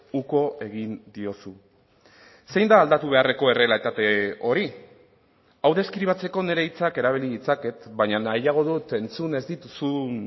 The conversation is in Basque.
uko egin diozu zein da aldatu beharreko errealitate hori hau deskribatzeko nire hitzak erabili ditzaket baina nahiago dut entzun ez dituzun